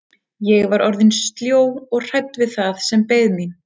Ég var orðin sljó og hrædd við það sem beið mín.